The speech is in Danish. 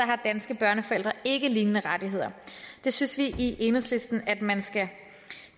har danske børneforældre ikke lignende rettigheder det synes vi i enhedslisten at man skal